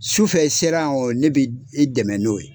Su fɛ sera yan o wa ne bɛ i dɛmɛ n'o ye.